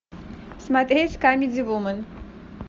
смотреть камеди вумен